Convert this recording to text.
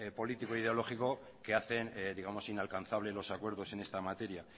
político e ideológico que hacen inalcanzable los acuerdos en esta materia